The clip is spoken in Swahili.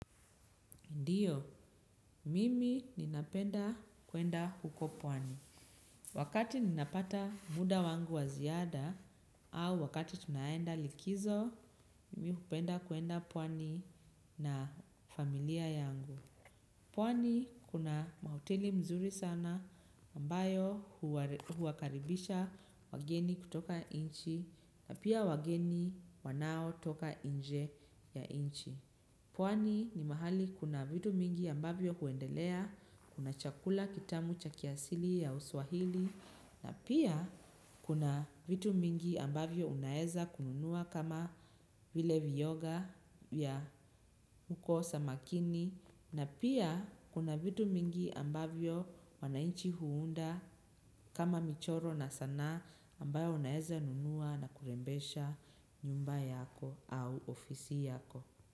Ndiyo, mimi ninapenda kuenda huko pwani. Wakati ninapata muda wangu wa ziada au wakati tunaenda likizo, mimi hupenda kuenda pwani na familia yangu. Pwani kuna hoteli nzuri sana ambayo huwakaribisha wageni kutoka nchi na pia wageni wanaotoka nje ya nchi. Pwani ni mahali kuna vitu mingi ambavyo huendelea, kuna chakula kitamu cha kiasili ya uswahili, na pia kuna vitu mingi ambavyo unaeza kununua kama vile viyoga vya kukosa makini, na pia kuna vitu mingi ambavyo wananchi huunda kama michoro na sanaa ambayo unaeza nunua na kurembesha nyumba yako au ofisi yako.